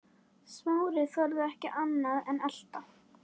Smári þorði ekki annað en elta.